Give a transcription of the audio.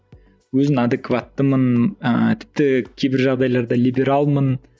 өзін адекваттымын ыыы тіпті кейбір жағдайда либералмын